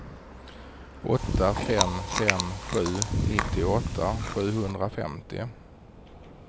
åtta fem fem sju nittioåtta sjuhundrafemtio